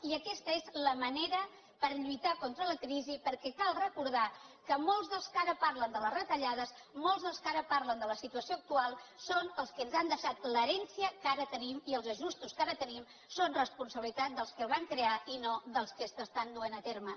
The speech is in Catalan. i aquesta és la manera per lluitar contra la crisi perquè cal recordar que molts dels que ara parlen de les retallades molts dels que ara parlen de la situació actual són els que ens han deixat l’herència que ara tenim i els ajustos que ara tenim són responsabilitat dels que els van crear i no dels que estan duent a terme